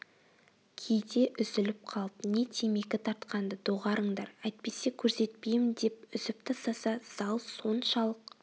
кейде үзіліп қалып не темекі тартқанды доғарыңдар әйтпесе көрсетпеймін деп үзіп тастаса зал соншалық